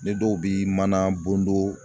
Ni dɔw bi mana bondon